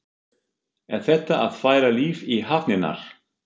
Er þetta að færa líf í hafnirnar?